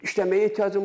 İşləməyə ehtiyacım var.